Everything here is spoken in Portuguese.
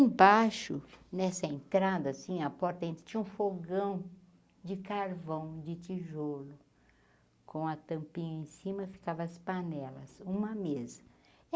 Em baixo, nessa entrada assim, a porta tinha um fogão de carvão, de tijolo, com a tampinha em cima ficava as panelas, uma mesa.